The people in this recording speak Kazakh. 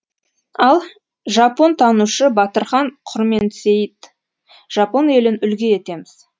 ал жапонтанушы батырхан құрменсейіт жапон елін үлгі етеміз